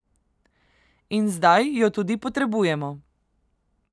In zdaj jo tudi potrebujemo.